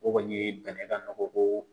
O kɔni ye bɛnɛ ka nɔgɔ ko